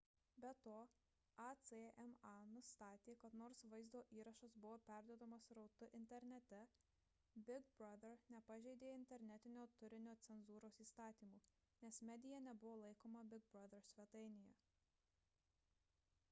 be to acma nustatė kad nors vaizdo įrašas buvo perduodamas srautu internete big brother nepažeidė internetinio turinio cenzūros įstatymų nes medija nebuvo laikoma big brother svetainėje